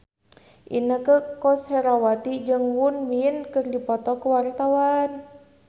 Inneke Koesherawati jeung Won Bin keur dipoto ku wartawan